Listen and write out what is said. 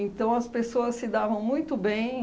Então as pessoas se davam muito bem.